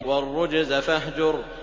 وَالرُّجْزَ فَاهْجُرْ